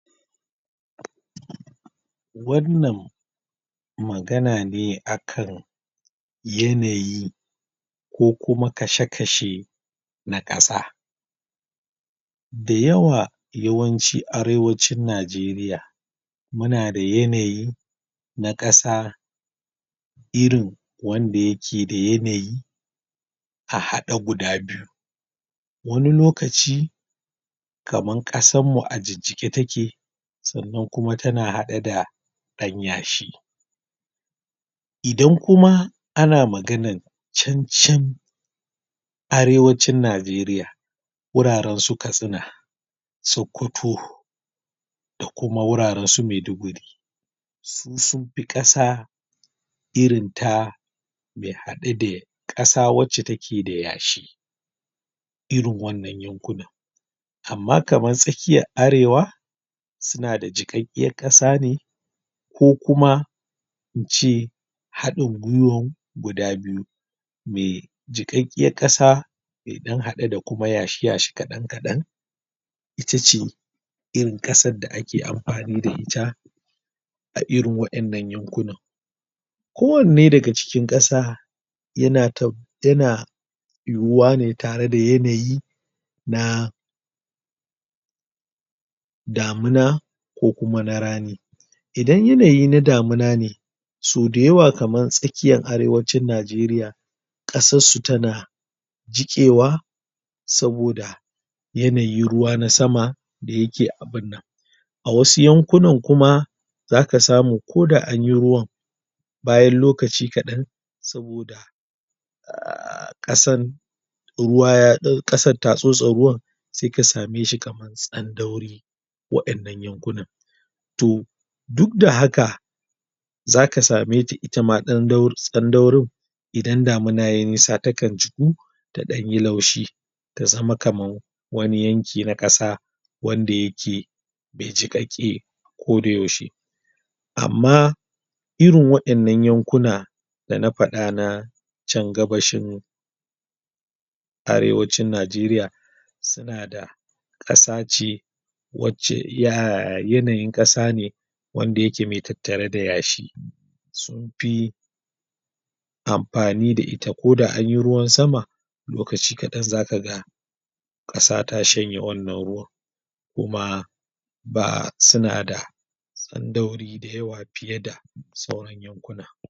Wannan magana ne a kan yanayi, ko kuma kashe-kashe na ƙasa. Da yawa, yawanci arewacin Najeriya, muna da yanayi na ƙasa, irin wanda yake da yanayi a haɗe guda biyu. Wani lokaci, kaman ƙasan mu a jijjiƙe take, sannan kuma tana haɗe da ɗan yashi. Idan kuma ana maganan can-can arewacin Najeriya, wuraren su Katsina, Sokoto, da kuma wuraren su Maiduguri, su sunfi ƙasa irin ta mai haɗe da ƙasa wacce take da yashi, irin wannan yankunan. Amma kamar tsakkiyar arewa, suna da jiƙaƙƙiyar ƙasa ne, ko kuma in ce haɗin gwuiwan guda biyu, me jiƙaƙƙayar ƙasa, me ɗan haɗe da kuma yashi-yashi kaɗan-kaɗan, itace irin ƙasar da ake amfani da ita, a irin wa'innan yankunan. Ko wanne daga cikin ƙasa, yana ta yana yuyuwa ne tare da yanayi, na damuna, ko kuma na rani. Idan yanayi na damuna ne, so da yawa kaman tsakkiyan arewacin Najeriya, ƙasas su tana jiƙewa, saboda yanayin ruwa na sama, da yake abun nan. A wasu yankunan kuma, zaka samu ko da anyi ruwan, bayan lokaci kaɗan, saboda ƙasan ƙasan ta tsotse ruwan, sai ka same shi kaman tsandauri wa'innan yankunan. To, duk da haka, zaka same ta ita ma tsandaurin, idan damina yayi nisa takan jiƙu, ta ɗan yi laushi, ta zama kaman wani yanki na ƙasa, wanda yake me jiƙaƙƙe ko da yaushe. Amma irin wa'innan yankuna, da na faɗa na can gabashin arewacin Najeriya, suna da ƙasa ce wacce yanayin ƙasa ne wanda yake mai tattare da yashi, sun fi amfani da ita, ko da anyi ruwan sama, lokaci kaɗan zakaga ƙasa ta shanye wannan ruwan. Kuma um suna da tsandauri fiye da sauran yankuna.